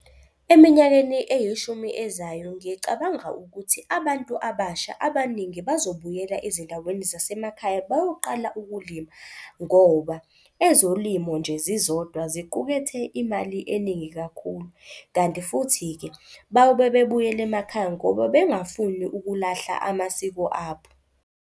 Eminyakeni eyishumi ezayo ngicabanga ukuthi abantu abasha abaningi bazobuyela ezindaweni zasemakhaya bayoqala ukulima ngoba ezolimo nje zizodwa ziqukethe imali eningi kakhulu. Kanti futhi-ke bayobe bebuyela emakhaya ngoba bengafuni ukulahla amasiko abo.